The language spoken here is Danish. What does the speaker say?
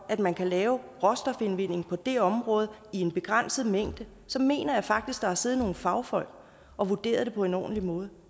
at man kan lave råstofindvinding på det område i en begrænset mængde så mener jeg faktisk der har siddet nogle fagfolk og vurderet det på en ordentlig måde